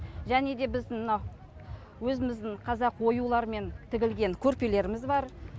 және де біздің мына өзіміздің қазақ оюлармен тігілген көрпелеріміз бар